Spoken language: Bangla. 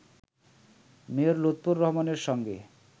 মেয়র লুৎফর রহমানের সঙ্গে